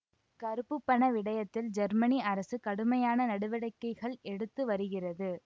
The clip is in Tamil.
கருப்பு பண விடயத்தில் ஜெர்மனி அரசு கடுமையான நடவடிக்கைகள் எடுத்து வருகிறது